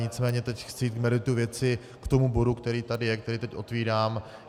Nicméně teď chci jít k meritu věci k tomu bodu, který tady je, který teď otevírám.